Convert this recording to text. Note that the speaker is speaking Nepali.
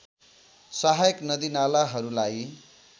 सहायक नदी नालाहरूलाई